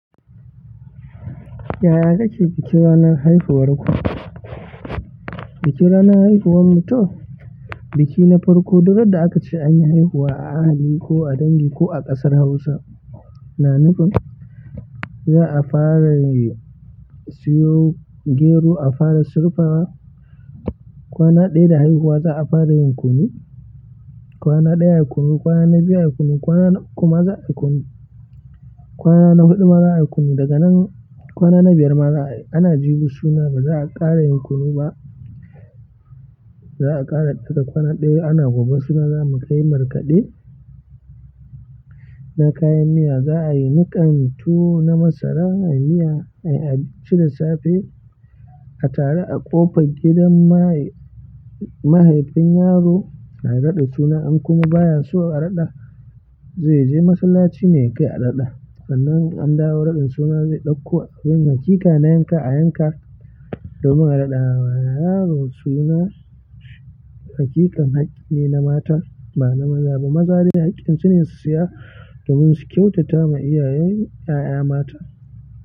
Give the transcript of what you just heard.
Yaya kake biki ranar haihuwar ku? Biki ranar haihuwar mu to biki na farko duk randa aka ce anyi haihuwa a ahali ko a dangi ko a ƙasar Hausa. Na nufi za'a fara siyo gero, a fara surfawa kwana ɗaya da haihuwa za'a fara yin kunu. Kwana ɗaya a kunu, kwana na biyu kunu, kwana na uku ma za'a yi kunu. Kwana na huɗu ma zayi kunu, daga nan kwana na biyar ma za'a ayi ana jibi suna ba za'a ƙara yin kunu ba. Za'a ƙara ɗaga kwana ɗaya ana gobe suna zamu yi tuwan markaɗe na kayan miya za'a yi niƙan tuwan na masara mai miya ai a ci da safe. A tare a ƙofar gidan mahaifin yaro ana raɗa suna an kuma baya so a raɗa zai je masallaci ne kai a raɗa sannan an dawo raɗin suna zai ɗauko abin haƙiƙa na yanka a yanka domin a raɗa wa yaro suna. Haƙiƙan haƙƙi ne na mata ba na maza ba. Maza hakkin su ne siya domin kyautata wa iyayan mu yaya mata.